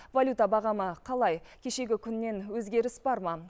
валюта бағамы қалай кешегі күннен өзгеріс бар ма